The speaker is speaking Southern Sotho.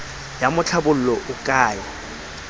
ya tlhabollo o ka e